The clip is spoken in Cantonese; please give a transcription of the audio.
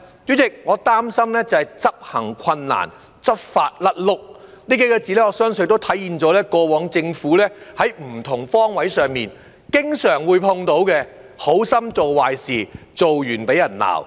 主席，我擔心的是執行困難、執法"甩轆"，這數個字，我相信體現了政府過往在不同方位上經常碰到"好心做壞事"、做完被罵的情況。